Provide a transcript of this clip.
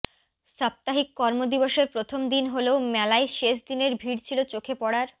সাপ্তাহিক কর্ম দিবসের প্রথম দিন হলেও মেলায় শেষ দিনের ভিড় ছিলো চোখে পড়ার